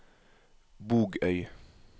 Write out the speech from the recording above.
Bogøy